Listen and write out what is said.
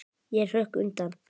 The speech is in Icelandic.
Ég hrökk undan.